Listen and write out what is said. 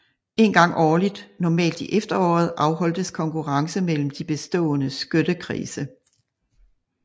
En gang årligt normalt i efteråret afholdtes konkurrence mellem de bestående skyttekredse